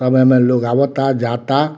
सब एमे लोग आवता जाता।